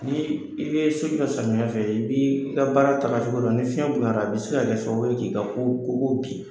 Ni i be so jɔ samiya fɛ i b'i ka baara taga cogo dɔn, ni fiɲɛ boyala a be se ka kɛ sababu ye k'i ka kogo bi.